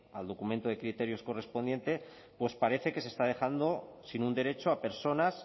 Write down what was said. al documento de criterios correspondiente pues parece que se está dejando sin un derecho a personas